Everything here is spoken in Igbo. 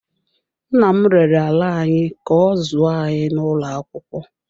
Nna m rere ala anyị ka ọ zụọ anyị n’ụlọ akwụkwọ.